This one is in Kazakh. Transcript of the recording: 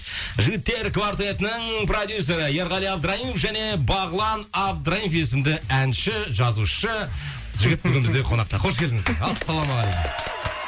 жігіттер квартетінің продюссері ерғали абдраимов және бағлан абдраимов есімді әнші жазушы жігіт бүгін бізде қонақта қош келдіңіздер ассалаумағалейкум